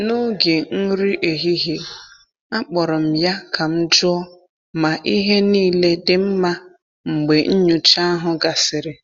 N’oge nri ehihie, akpọrọ m ya ka m jụọ ma ihe niile dị mma mgbe nnyocha ahụ gasịrị.